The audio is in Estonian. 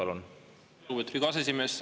Lugupeetud Riigikogu aseesimees!